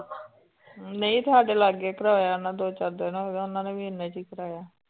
ਨਹੀਂ ਸਾਡੇ ਲਾਗੇ ਕਰਵਾਇਆ ਨਾ ਦੋ ਚਾਰ ਦਿਨ ਹੋ ਗਏ ਉਹਨਾਂ ਨੇ ਵੀ ਇੰਨੇ ਚ ਹੀ ਕਰਵਾਇਆ।